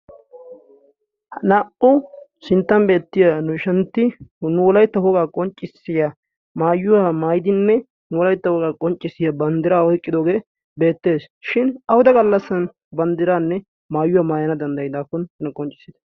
ha naa77u sinttani beettiya nu ishantti nuulaitta hogaa qonccissiya maayuwaa maaidinne nuulaitta hogaa qonccissiya banddiraa hoiqqidoogee beettees shin ahuda gallassan banddiraanne maayuwaa maayana danddayidaakkon nna qonccissiita